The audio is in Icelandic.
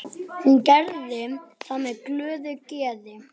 Hún gerði það með glöðu geði.